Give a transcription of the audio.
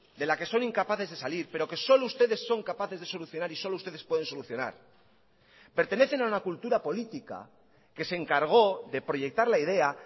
de la que son incapaces de salir pero que solo ustedes son capaces de solucionar y solo ustedes pueden solucionar pertenecen a una cultura política que se encargó de proyectar la idea